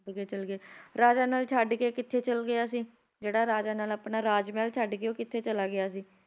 ਅੱਗੇ ਚਲਗੇ ਰਾਜਾ ਨਲ ਛੱਡਕੇ ਕਿੱਥੇ ਚਲ ਗਿਆ ਸੀ ਜਿਹੜਾ ਰਾਜਾ ਨਲ ਆਪਣਾ ਰਾਜਮਹਿਲ ਛੱਡਕੇ ਉਹ ਕਿੱਥੇ ਚਲਾ ਗਿਆ ਸੀ